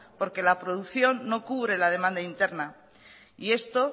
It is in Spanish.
porque la producción no cubre la demanda interna y esto